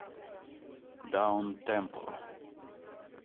даунтемпо